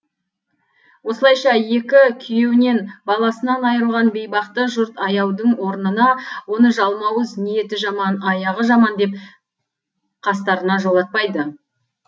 осылайша екі күйеуінен баласынан айырылған бейбақты жұрт аяудың орнына оны жалмауыз ниеті жаман аяғы жаман деп қастарына жолатпайды